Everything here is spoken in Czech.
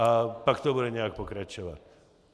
A pak to bude nějak pokračovat.